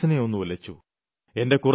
അതെന്റെ മനസ്സിനെ ഒന്നുലച്ചു